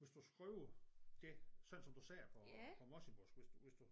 Hvis du skriver det sådan som du siger på på morsingmål hvis du hvis du